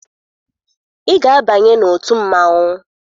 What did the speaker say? Ị ga-abanye n'otu mmanwụ!